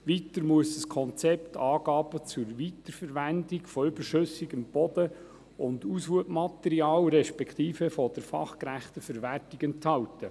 Weiter muss das Konzept Angaben zur Weiterverwendung von überschüssigem Boden und Aushubmaterial, respektive zur fachgerechten Verwertung enthalten.